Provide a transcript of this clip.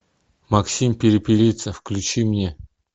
максим перепелица включи мне